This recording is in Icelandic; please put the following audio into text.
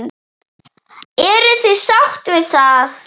Eruð þið sátt við það?